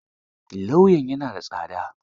Lauyan ya na da tsada?